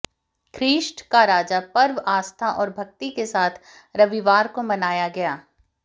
ख्रीष्ट का राजा पर्व आस्था और भक्ति के साथ रविवार को मनाया गया